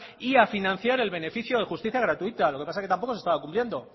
y a financiar el beneficio de justicia gratuita lo que pasa es que tampoco se estaba cumpliendo